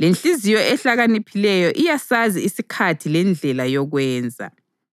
lenhliziyo ehlakaniphileyo iyasazi isikhathi lendlela yokwenza.